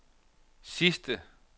sidste